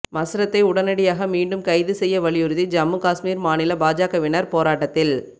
மஸ்ரத்தை உடனடியாக மீண்டும் கைது செய்ய வலியுறுத்தி ஜம்மு காஷ்மீர் மாநில பாஜகவினர் போராட்டத்தில்